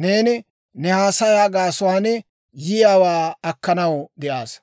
neeni ne haasayaa gaasuwaan yiyaawaa akkanaw de'aassa.